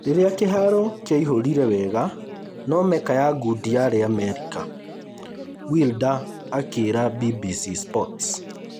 Rĩrĩa kĩharo kĩaihũrire wega no Mecca ya ngundi yarĩ Amerika’’ Wilder akĩĩra BBC sports